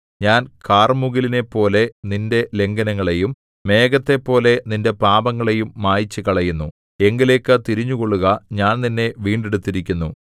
ഞാൻ കാർമുകിലിനെപ്പോലെ നിന്റെ ലംഘനങ്ങളെയും മേഘത്തെപോലെ നിന്റെ പാപങ്ങളെയും മായിച്ചുകളയുന്നു എങ്കലേക്ക് തിരിഞ്ഞുകൊള്ളുക ഞാൻ നിന്നെ വീണ്ടെടുത്തിരിക്കുന്നു